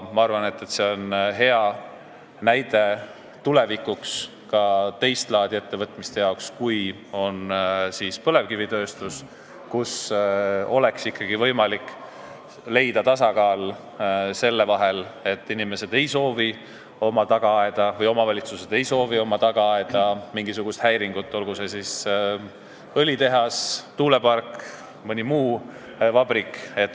Ma arvan, et see on hea näide tulevikuks ka teist laadi ettevõtmiste jaoks kui põlevkivitööstus, et oleks ikkagi võimalik leida tasakaal, kui inimesed või omavalitsused ei soovi oma tagaaeda mingisugust häiringut, olgu see õlitehas, tuulepark või mõni vabrik.